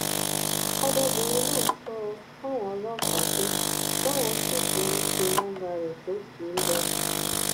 ọmọbìnrin náà sọ fáwọn ọlọpàá pé báwọn ṣì ṣe ń pe nọmba rẹ tó kì í lọ